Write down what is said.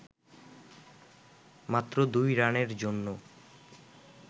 মাত্র দুই রানের জন্য